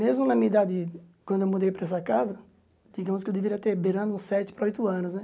Mesmo na minha idade, quando eu mudei para essa casa, digamos que eu deveria ter beirando uns sete para oito anos, né?